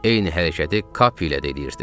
Eyni hərəkəti Kapiylə də eləyirdi.